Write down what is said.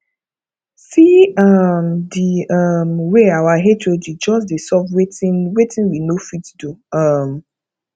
see um the um way our hod just dey solve wetin wetin we no fit do um